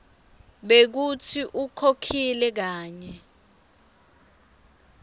bekutsi ukhokhile kanye